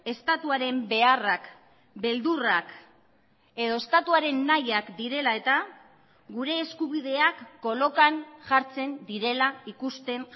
estatuaren beharrak beldurrak edo estatuaren nahiak direla eta gure eskubideak kolokan jartzen direla ikusten